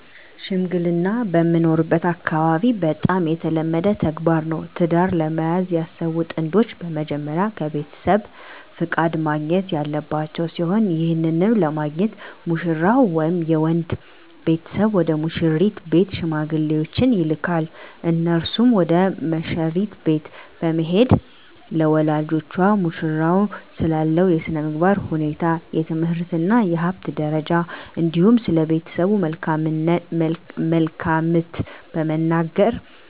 ሽምግልና በምኖርበት አካባቢ በጣም የተለመደ ተግባር ነው። ትዳር ለመያዝ ያሰቡ ጥንዶች በመጀመሪያ ከቤተሰብ ፍቃድ ማግኘት ያለባቸው ሲሆን ይህንንም ለማግኘት ሙሽራው ወይም የወንድ ቤተሰብ ወደ ሙሽሪት ቤት ሽማግሌዎችን ይልካል። እነርሱም ወደ መሽሪት ቤት በመሄድ ለወላጆቿ ሙሽራው ስላለው የስነምግባር ሁኔታ፣ የትምህርት እና የሀብት ደረጃ እንዲሁም ስለቤተሰቡ መልካምት በመናገር